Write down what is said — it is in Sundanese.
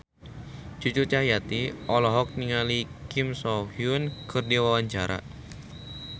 Cucu Cahyati olohok ningali Kim So Hyun keur diwawancara